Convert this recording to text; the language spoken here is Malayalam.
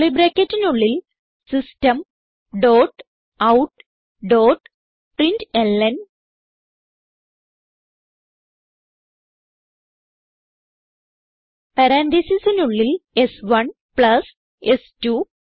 കർലി ബ്രാക്കറ്റിനുള്ളിൽ system dot out dot println പരാൻതീസിസിനുള്ളിൽ സ്1 പ്ലസ് സ്2